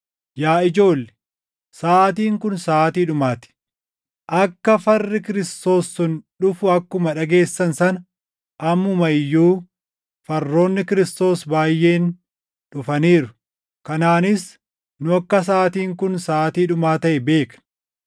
Yaa ijoolle, saʼaatiin kun saʼaatii dhumaa ti; akka farri Kiristoos sun dhufu akkuma dhageessan sana ammuma iyyuu farroonni Kiristoos baayʼeen dhufaniiru. Kanaanis nu akka saʼaatiin kun saʼaatii dhumaa taʼe beekna.